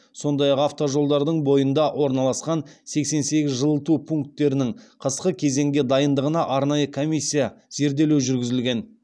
сондай ақ автожолдардың бойында орналасқан сексен сегіз жылыту пунктерінің қысқы кезеңге дайындығына арнайы комиссия зерделеу жүргізілген